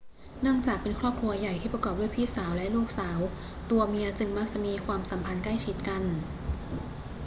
เนื่องจากเป็นครอบครัวใหญ่ที่ประกอบด้วยพี่สาวและลูกสาว ตัวเมียจึงมักจะมีความสัมพันธ์ใกล้ชิดกัน